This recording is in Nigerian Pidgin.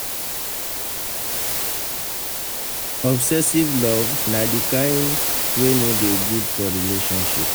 Obsessive Love na di kind wey no de good for relationship